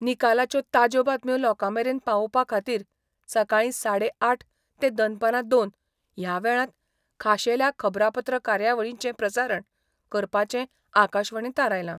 निकालाच्यो ताज्या बातम्यो लोकामेरेन पावोपा खातीर सकाळी साडे आठ ते दनपारा दोन ह्या वेळात खाशेल्या खबरापत्र कार्यावळींचे प्रसारण करपाचे आकाशवाणीन थारयला.